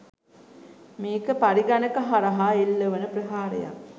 මේක පරිගණක හරහා එල්ල වන ප්‍රහාරයක්.